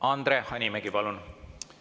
Andre Hanimägi, palun!